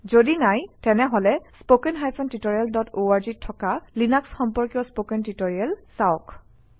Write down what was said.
যদি নাই তেনেহলে spoken tutorisalorg অত থকা লিনাক্স সম্পৰ্কীয় স্পকেন টিউটৰিয়েল চাওক